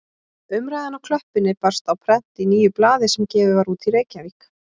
Umræðan á klöppinni barst á prent í nýju blaði sem gefið var út í Reykjavík.